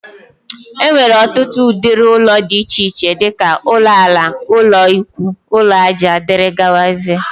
Enwere ọtụtụ ụdịrị ụlọ dị iche iche dika: ụlọ ala, ụlọ ikwúú, ụlọ aja wdg.